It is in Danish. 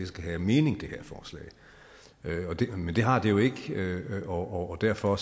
skal have mening men det har det jo ikke og derfor